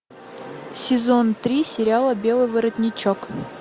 сезон три сериала белый воротничок